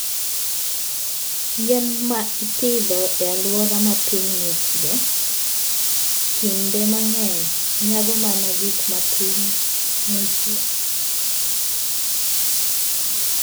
Yien ma ipidho e alwora ma piny ng'ichie, kinde mang'eny nyago mana gik ma piny ng'ichie.